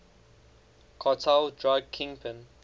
cartel drug kingpin